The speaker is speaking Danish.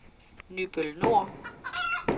Nybøl Nor